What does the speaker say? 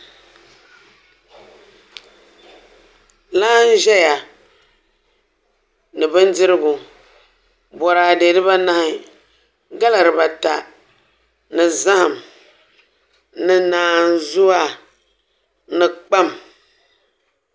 Laa n ʒɛya ni bindirigu boraadɛ dibanahi gala dibata ni zaham ni naanzuwa ni kpam